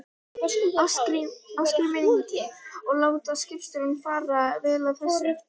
Ásgrímur Ingi: Og láta skipstjórarnir bara vel af þessu?